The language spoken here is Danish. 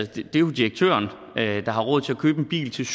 det er jo direktøren der har råd til at købe en bil til